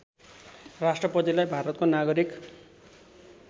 राष्‍ट्रपतिलाई भारतको नागरिक